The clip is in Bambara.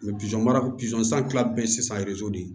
baara san kila bɛ sisan de